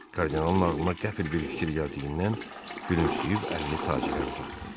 Kardinalın ağlına qəfil bir fikir gəldiyindən gülümsüyüb əlini tacirə uzatdı.